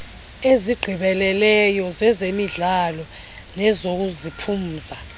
ezigqibeleleyo zezemidlalo nezokuziphumza